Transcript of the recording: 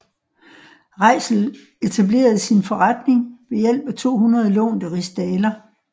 Reitzel etablerede sin forretning ved hjælp af 200 lånte rigsdaler